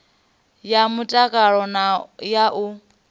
ya mtakalo na ya u